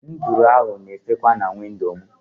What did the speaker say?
Nduru ahụ na efekwa si na windo mụ